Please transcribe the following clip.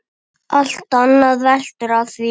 Allt annað veltur á því.